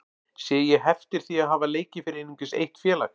Sé ég heftir því að hafa leikið fyrir einungis eitt félag?